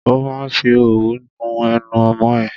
Ó ma fi òwú nu ẹnu ọmọ ẹ.